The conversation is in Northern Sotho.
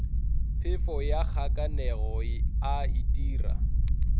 phefo ya kgakanego a itira